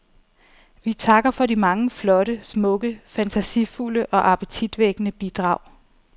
Vi takker for de mange flotte, smukke, fantasifulde og appetitvækkende bidrag.